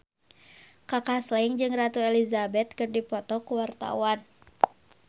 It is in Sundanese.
Kaka Slank jeung Ratu Elizabeth keur dipoto ku wartawan